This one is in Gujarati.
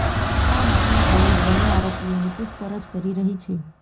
આ મામલે પોલીસ બંને આરોપીઓની પૂછપરછ કરી રહી છે